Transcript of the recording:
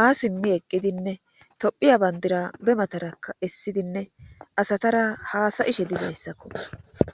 ha simmi eqqidinne tophiya bandira be matarakka essidinne asatara haasayishe dizayssakko.